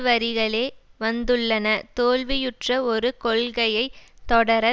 வரிகளே வந்துள்ளன தோல்வியுற்ற ஒரு கொள்கையை தொடர